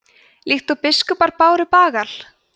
líkt og biskupar báru bagal